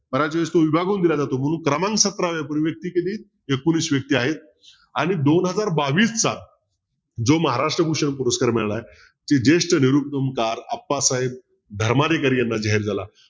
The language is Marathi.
बऱ्याच वेळेस तो विभागून दिला जातो म्हणून क्रमांक सतराव्या पूर्वी व्यक्ती कधी एकोणवीस व्यक्ती आहेत आणि दोन हजार बावीसचा जो महाराष्ट्र भूषण पुरस्कार मिळाला आहे ते जेष्ठ निरुपणकार अप्पासाहेब धर्माधिकारी याना जाहीर झाला.